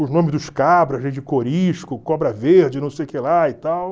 Os nomes dos cabras aí de Cobra Verde, não sei o que lá e tal.